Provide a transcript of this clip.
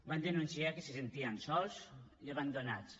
van denunciar que se sentien sols i abandonats